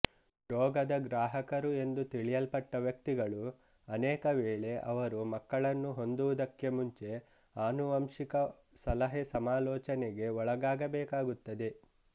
ರೋಗದ ಗ್ರಾಹಕರು ಎಂದು ತಿಳಿಯಲ್ಪಟ್ಟ ವ್ಯಕ್ತಿಗಳು ಅನೇಕ ವೇಳೆ ಅವರು ಮಕ್ಕಳನ್ನು ಹೊಂದುವುದಕ್ಕೆ ಮುಂಚೆ ಆನುವಂಶಿಕ ಸಲಹೆ ಸಮಾಲೋಚನೆಗೆ ಒಳಗಾಗಬೇಕಾಗುತ್ತದೆ